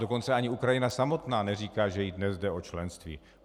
Dokonce ani Ukrajina samotná neříká, že jí dnes jde o členství.